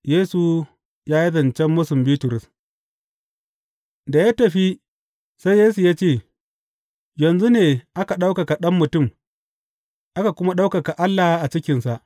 Yesu ya yi zancen mūsun Bitrus Da ya tafi, sai Yesu ya ce, Yanzu ne aka ɗaukaka Ɗan Mutum aka kuma ɗaukaka Allah a cikinsa.